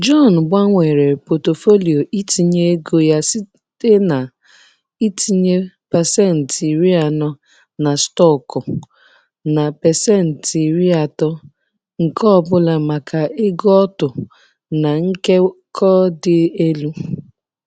John gbanwere pọtụfoliyo itinye ego ya site na-itinye 40% na stọkụ na 30% nke ọ bụla maka ego otu na nkekọ dị elu.